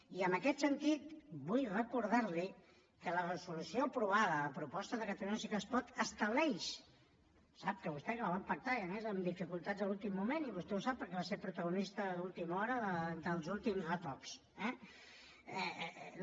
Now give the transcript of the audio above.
i en aquest sentit vull recordar li que la resolució aprovada a proposta de catalunya sí que es pot estableix ho sap vostè que la vam pactar i a més amb dificultats a l’últim moment i vostè ho sap perquè va ser protagonista d’última hora dels últims retocs eh